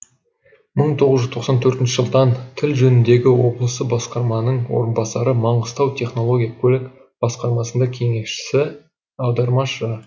мың тоғыз жүз тоқсан төртінші жылдан тіл жөніндегі облысы басқарманың орынбасары маңғыстау технология көлік басқармасында кеңесші аудармашы